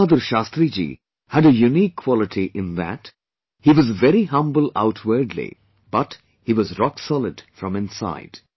LalBahadurShastriji had a unique quality in that, he was very humble outwardly but he was rock solid from inside